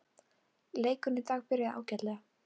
Leikurinn í dag byrjaði ágætlega.